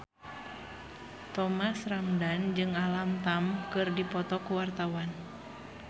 Thomas Ramdhan jeung Alam Tam keur dipoto ku wartawan